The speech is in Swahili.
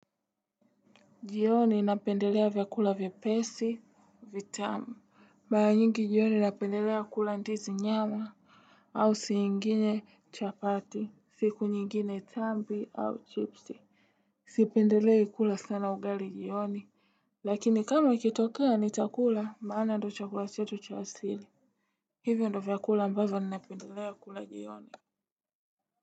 Jioni napendelea vyakula vyepesi, vitamu. Mara nyingi jioni napendelea kula ndizi nyama au saa ingine chapati, siku nyingine tambi au chipsi. Sipendelei kula sana ugali jioni. Lakini kama ikitokea nitakula maana ndo chakula chetu cha asili. Hivyo ndo vyakula ambavyo ninapendelea kula jioni.